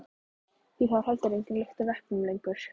Því það er heldur engin lykt af eplum lengur.